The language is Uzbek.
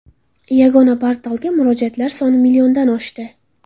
Yagona portalga murojaatlar soni milliondan oshdi.